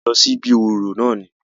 A jọ lọ sí ibí orò náà ni.